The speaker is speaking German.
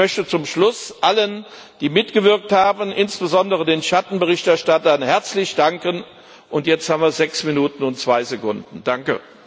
Ich möchte zum Schluss allen, die mitgewirkt haben, insbesondere den Schattenberichterstattern, herzlich danken und jetzt haben wir sechs Minuten und zwei Sekunden Danke!